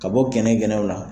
Ka bɔ gɛnɛ gɛnɛw la,